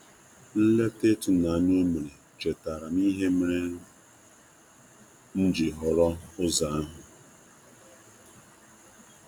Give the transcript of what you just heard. Nleta ịtụnanya o mere chetaara m ihe mere m ji họrọ ụzọ ahu.